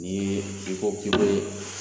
Ni i ko ki be